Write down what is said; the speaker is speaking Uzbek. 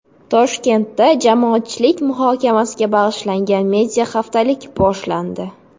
Toshkentda jamoatchilik muhokamasiga bag‘ishlangan media-haftalik boshlandi.